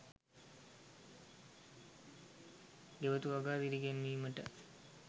ගෙවතු වගාව දිරිගැන්වීමට